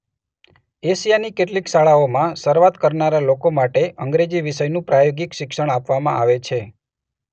એશિયાની કેટલીક શાળાઓમાં શરૂઆત કરનારા લોકો માટે અંગ્રેજી વિષયનું પ્રાયોગિક શિક્ષણ આપવામાં આવે છે.